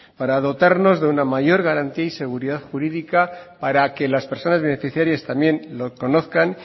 para dotarnos de una mayor garantía y seguridad jurídica para que las personas beneficiarias también lo conozcan